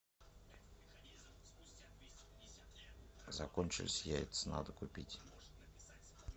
закончились яйца надо купить